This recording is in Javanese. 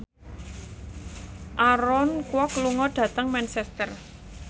Aaron Kwok lunga dhateng Manchester